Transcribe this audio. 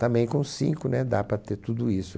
Também com cinco né dá para ter tudo isso.